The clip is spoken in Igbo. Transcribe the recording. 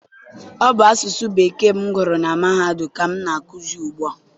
Ọ bụ asụsụ Bekee m gụrụ na mahadum ka m na-akụzi ugbu a.